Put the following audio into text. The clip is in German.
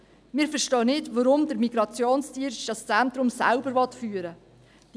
Wir verstehen nicht, weshalb der Migrationsdienst das Zentrum selber führen will.